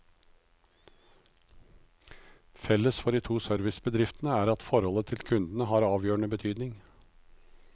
Felles for de to servicebedriftene er at forholdet til kundene har avgjørende betydning.